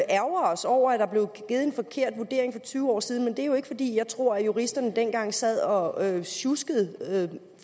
ærgre os over at der blev givet en forkert vurdering for tyve år siden men det er jo ikke fordi jeg tror at juristerne dengang sad og sjuskede